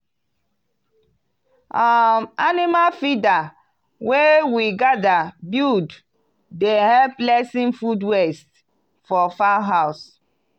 um animal feeder wey we gather buld dey help lessen food waste for fowl house.